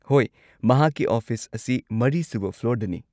ꯍꯣꯏ, ꯃꯍꯥꯛꯀꯤ ꯑꯣꯐꯤꯁ ꯑꯁꯤ ꯃꯔꯤꯁꯨꯕ ꯐ꯭ꯂꯣꯔꯗꯅꯤ꯫